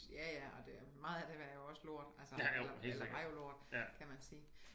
Ja ja og det meget af det var jo også lort altså eller eller var jo lort kan man sige